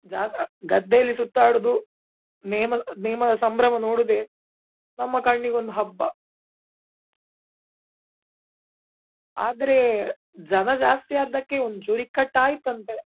ಜಾಗ ಗದ್ದೆಯಲ್ಲಿ ಸುತ್ತಾಡುದು ನೇಮ ದ ನೇಮ ದ ಸಂಭ್ರಮ ನೋಡುದೆ ನಮ್ಮ ಕಣ್ಣಿಗೊಂದು ಹಬ್ಬ. ಆದ್ರೆ ಜನ ಜಾಸ್ತಿ ಆದಕ್ಕೆ ಒಂದ್ ಚೂರ್ ಇಕ್ಕಟ್ಟ್ ಆಯ್ತಂತೆ.